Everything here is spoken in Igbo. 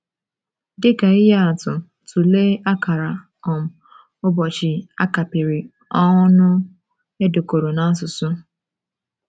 Dị ka ihe atụ, tụlee akara um ụbọchị a kapịrị ọnụ e dekọrọ n’Asusụ.